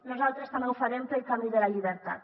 nosaltres també ho farem pel camí de la llibertat